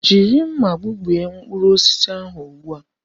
Jiri nmà gbubie mkpụrụ osisi ahụ ugbu a!